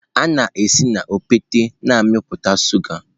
A na-esi na okpete na-amịpụta shuga.